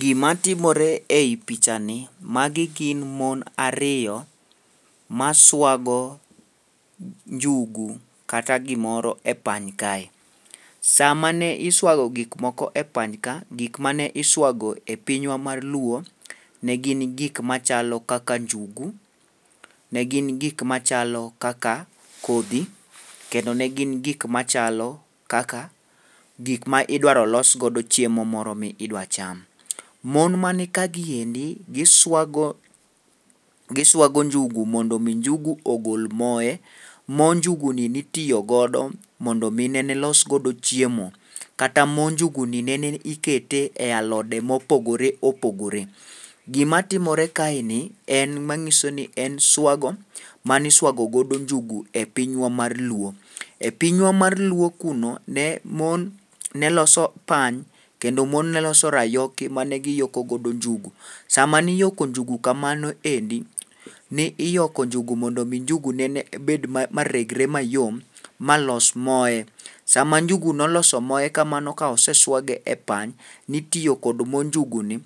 Gimatimore ei pichani, magi gin mon ariyo ma swago njugu kata gimoro e pany kae. Sama ne iswago gik moko e panyka, gik mane iswago e pinywa mar luo, ne gin gik machalo kaka njugu, ne gin gik machalo kaka kodhi, kendo ne gin gik machalo kaka gik ma idwaro los godo chiemo moro midwa cham. Mon mani kaendi, giswago njugu mondo omi njugu ogol moye, mo njuguni nitiyo godo mondo mine ne los godo chiemo, kata mo njuguni nene ni ikete e alode mopogore opogore. Gimatimore kaeni en mang'iso ni en swago maniswago godo njugu e pinywa mar luo. E pinywa mar luo kuno, ne mon ne loso pany, kendo mon ne loso rayoki mane giyoko godo njugu, sama niyoko njugu kamano endi, ne iyoko njugu mondo omi njugu nene bed, maregre mayom ma los moye. Sama njugu noloso moye kamano ka oseswage e pany, nitiyo kod mo njuguni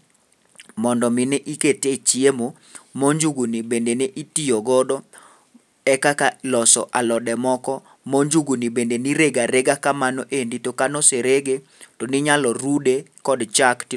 mondo omi ni ikete e chiemo, mo njuguni bende ne itiyo godo e kaka loso alode moko, mo njuguni bende nirego arega kamano endi, to kanoserege, to ninyalo rude kod chak ti.